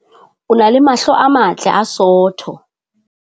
O na le mahlo a matle a sootho.